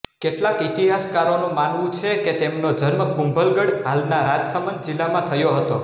કેટલાક ઇતિહાસકારોનું માનવું છે કે તેમનો જન્મ કુંભલગઢ હાલના રાજસમંદ જિલ્લામાં થયો હતો